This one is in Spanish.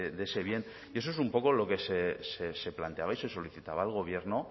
de ese bien y eso es un poco lo que se planteaba y se solicitaba al gobierno